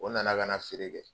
O nana kana feere kɛ.